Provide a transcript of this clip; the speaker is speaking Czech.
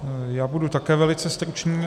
Já budu také velice stručný.